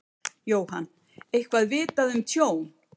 Jóhann: Eitthvað vitað um tjón?